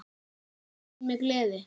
Minnist mín með gleði.